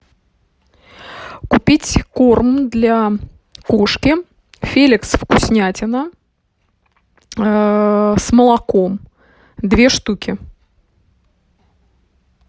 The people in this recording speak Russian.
купить корм для кошки феликс вкуснятина с молоком две штуки